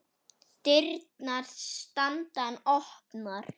Dyrnar standa enn opnar.